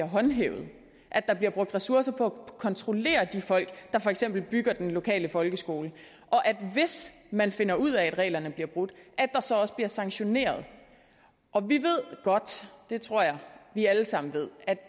håndhævet at der bliver brugt ressourcer på at kontrollere de folk der for eksempel bygger den lokale folkeskole og at der hvis man finder ud af at reglerne bliver brudt så også bliver sanktioneret og vi ved godt det tror jeg vi alle sammen ved at